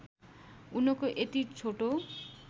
उनको यति छोटो